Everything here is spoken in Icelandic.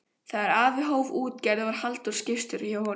Þegar afi hóf útgerð varð Halldór skipstjóri hjá honum.